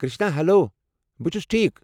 Krishna, hello. بہٕ چُھس ٹھیكھ ۔